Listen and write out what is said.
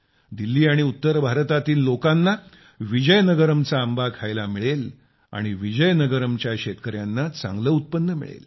दिल्ली आणि उत्तर भारतातील लोकांना विजयनगरमचा आंबा खायला मिळेल आणि विजयनगरमच्या शेतकर्यांना चांगले उत्पन्न मिळेल